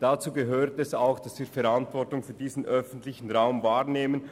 Dazu gehört es auch, dass wir Verantwortung für den öffentlichen Raum wahrnehmen.